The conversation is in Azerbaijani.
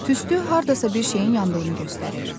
Tüstü hardasa bir şeyin yandığını göstərir.